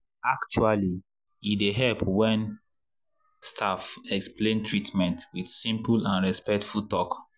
actually e dey help well when staff explain treatment with simple and respectful talk.